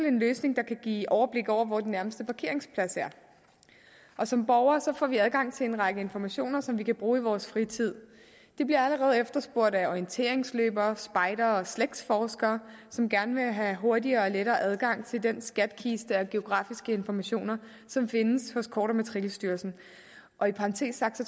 en løsning der kan give overblik over hvor den nærmeste parkeringsplads er som borgere får vi adgang til en række informationer som vi kan bruge i vores fritid det bliver allerede efterspurgt af orienteringsløbere spejdere og slægtsforskere som gerne vil have hurtigere og lettere adgang til den skattekiste af geografiske informationer som findes hos kort og matrikelstyrelsen og i parentes sagt